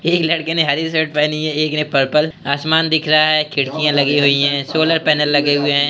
एक लड़के ने हरी शर्ट पहनी हुई है एक ने पर्पल । आसमान दिख रहा है | खिड़कियां लगी हुई हैं | सोलर पैनल लगे हुए हैं।